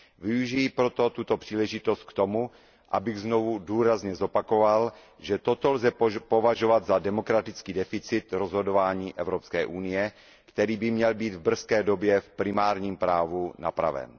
Využiji proto tuto příležitost k tomu, abych znovu důrazně zopakoval, že toto lze považovat za demokratický deficit rozhodování Evropské unie, který by měl být v brzké době v primárním právu napraven.